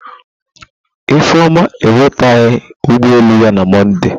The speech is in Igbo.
Ifeoma enweteghi ụgbọ elu ya na Mọnde.